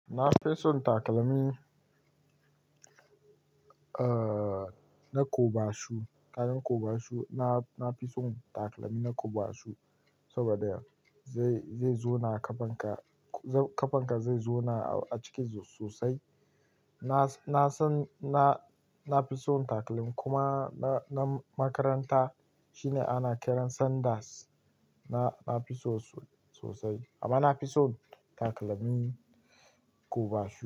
Na fi son takalmi, eh, na kobashu, ƙanan kobashu. Na, na fi son takalmi na kobashu saboda yau zai, zai zona kafan ka, kafan ka zai zona a ciki sosai. Na, na san, na, na fi son takalmi kuma na, na makaranta shine ana kiran sanders. Na, na fi so sosai amma na fi son takalmin kobashu.